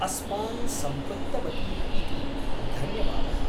अस्मान् सम्पृक्तवती इति धन्यवादः।